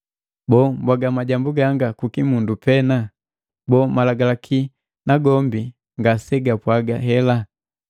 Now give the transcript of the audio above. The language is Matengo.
Boo, mbwaga majambu ganga kukimundu pena? Boo, malagalaki nagombi ngasegapwaga hela?